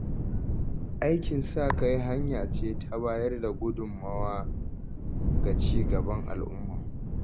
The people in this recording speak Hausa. Aikin sa-kai hanya ce ta bayar da gudunmawa ga ci gaban al’umma.